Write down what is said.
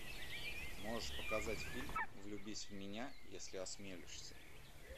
можешь показать фильм влюбись в меня если осмелишься